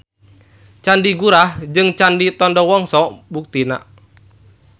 Candi Gurah jeung Candi Tondowongso buktina.